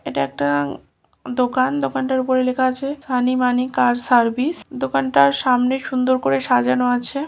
এটা একটা দোকান দোকানটার উপরে লেখা আছে সানি মানি কার সার্ভিস দোকানটার সামনে সুন্দর করে সাজানো আছে ।